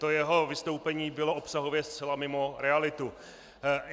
To jeho vystoupení bylo obsahově zcela mimo realitu.